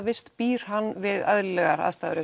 vist býr hann við eðlilegar aðstæður